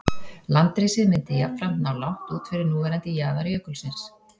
Landrisið myndi jafnframt ná langt út fyrir núverandi jaðar jökulsins.